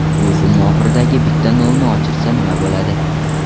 Bu summa oxiridagi bitta nolni o‘chirsa nima bo‘ladi?